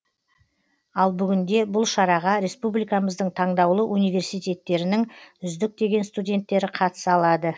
ал бүгінде бұл шараға республикамыздың таңдаулы университеттерінің үздік деген студенттері қатыса алады